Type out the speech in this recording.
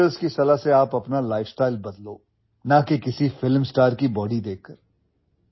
doctors की सलाह से आपअपना ଲାଇଫଷ୍ଟାଇଲ बदलो ना कि किसी फिल्म स्टार की ବଡି देखकर